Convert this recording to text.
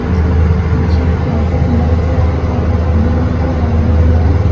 और उसके पीछे एक लाइट का खंभा दिख रहा है और एक ब्लू कलर का दरवाजा दिख रहा है।